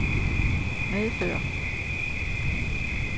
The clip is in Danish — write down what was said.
medføre